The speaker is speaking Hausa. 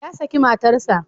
Ya saki matarsa.